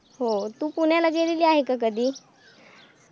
हो. तू पुण्याला गेलेली आहे का कधी?